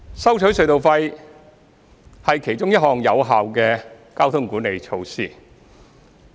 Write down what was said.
收取隧道費是其中一項有效的交通管理措施。